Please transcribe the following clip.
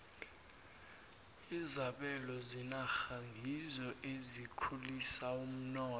izabelo zenarha ngizo ezikhulisa umnotho